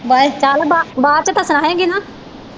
bye ਚਲ ਬਾਅਦ ਚ ਤਾ ਸੁਣਾਏ ਗੀ ਨਾ